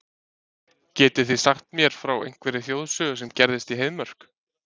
Getið þið sagt mér frá einhverri þjóðsögu sem gerðist í Heiðmörk?